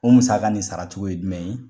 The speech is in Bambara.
O musaka nin saracogo ye jumɛn ye ?